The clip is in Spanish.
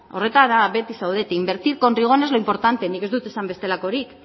horretara beti zaudete invertir con rigor no es lo importante nik ez du esan bestelakorik